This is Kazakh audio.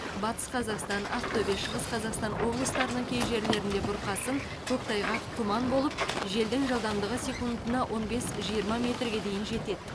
батыс қазақстан ақтөбе шығыс қазақстан облыстарының кей жерлеріңде бұрқасын көктайғақ тұман болып желдің жылдамдығы секундына он бес жиырма метрге дейін жетеді